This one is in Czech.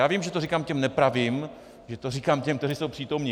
Já vím, že to říkám těm nepravým, že to říkám těm, kteří jsou přítomni.